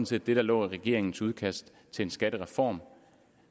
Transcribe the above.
set det der lå i regeringens udkast til en skattereform